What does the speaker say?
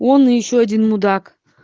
он и ещё один мудак